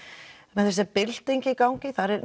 með þessa byltingu í gangi þá eru